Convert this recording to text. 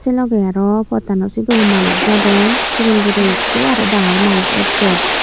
sey logey arow pottano sidu manus jadon sigon guro ikko arow dangor manus ekjon.